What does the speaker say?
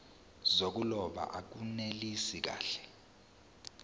zokuloba akunelisi kahle